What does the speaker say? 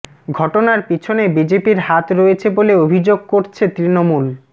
ঘটনার পিছনে বিজেপির হাত রয়েছে বলে অভিযোগ করছে তৃণমূল